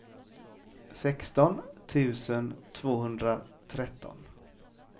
sexton tusen tvåhundratretton